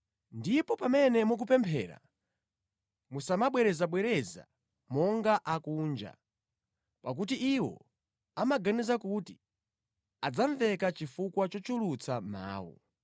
Ndipo pamene mukupemphera, musamabwerezabwereza monga akunja, pakuti iwo amaganiza kuti adzamveka chifukwa chochulutsa mawu.